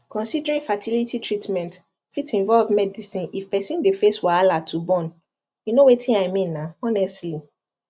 considering fertility treatment fit involve medicine if person dey face wahala to born you know wetin i mean na honestly